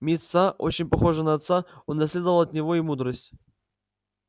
мит са очень похожий на отца унаследовал от него и мудрость